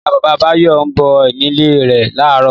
Ìyá-bàbá Báyọ̀ ń bọ̀ nílé rẹ̀ láàárọ̀.